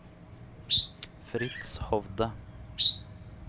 Fritz Hovde